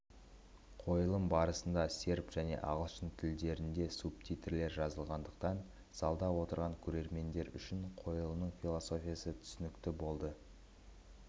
қойылым барысында серб және ағылшын тілдерінде субтитрлер жазылғандықтан залда отырған көрермендер үшін қойылымның философиясы түсінікті болды